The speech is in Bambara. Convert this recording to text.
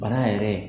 Bana yɛrɛ